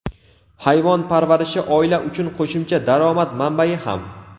Hayvon parvarishi oila uchun qo‘shimcha daromad manbai ham.